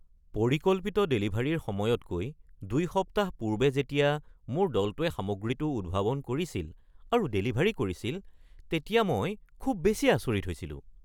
পৰিকল্পিত ডেলিভাৰীৰ সময়তকৈ ২ সপ্তাহ পূৰ্বে যেতিয়া মোৰ দলটোৱে সামগ্ৰীটো উদ্ভাৱন কৰিছিল আৰু ডেলিভাৰী কৰিছিল তেতিয়া মই খুব বেছি আচৰিত হৈছিলোঁ।